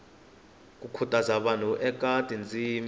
no khutaza vanhu eka tindzimi